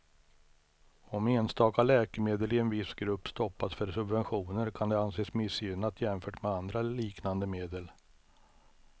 Om enstaka läkemedel i en viss grupp stoppas för subventioner kan det anses missgynnat jämfört med andra liknande medel.